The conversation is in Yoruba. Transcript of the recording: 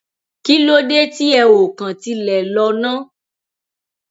kí ló dé tí ẹ ò kàn tilẹ lò ná